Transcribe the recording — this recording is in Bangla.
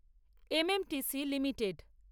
MMTC limited